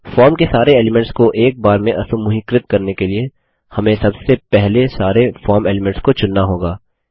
form के सारे elements को एक बार में असमूहीकृत करने के लिए हमें सबसे पहले सारे फॉर्म एलीमेंट्स को चुनना होगा